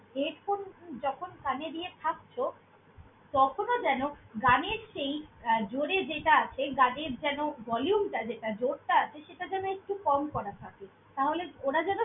Headphone যখন কানে দিয়ে থাকছ, তখনও যেন গানের সেই আহ জোরে যেটা আছে, গানের যেন volume টা যেটা জোরটা আছে সেটা যেন একটু কম করা থাকে। তাহলে ওর যেন।